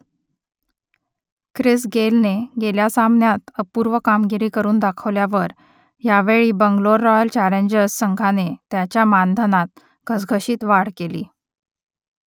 Chris गेलने गेल्या सामन्यात अपूर्व कामगिरी करून दाखवल्यावर यावेळी बंगलोर रॉयल चॅलेंजर्स संघाने त्याच्या मानधनात घसघशीत वाढ केली